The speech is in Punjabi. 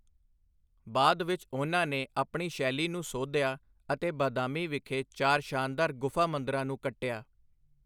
ਬਾਅਦ ਵਿੱਚ ਉਹਨਾਂ ਨੇ ਆਪਣੀ ਸ਼ੈਲੀ ਨੂੰ ਸੋਧਿਆ ਅਤੇ ਬਾਦਾਮੀ ਵਿਖੇ ਚਾਰ ਸ਼ਾਨਦਾਰ ਗੁਫਾ ਮੰਦਰਾਂ ਨੂੰ ਕੱਟਿਆ।